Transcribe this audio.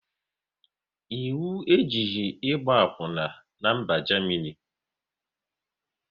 Ịwu ejighị ịgba akwuna n'mba Jamini